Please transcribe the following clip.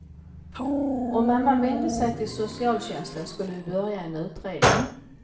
Om mamman vände sig till socialtjänsten skulle vi börja en utredning.